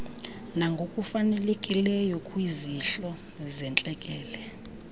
nangokufanelekileyo kwizihlo zentlekele